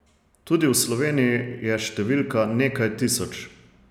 Tudi v Sloveniji je številka nekaj tisoč.